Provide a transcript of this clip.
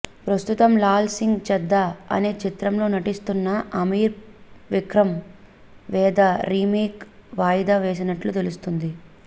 ప్రస్తుతం లాల్ సింగ్ చద్దా అనే చిత్రంలో నటిస్తున్న అమీర్ విక్రమ్ వేద రీమేక్ వాయిదా వేసినట్లు తెలుస్తుంది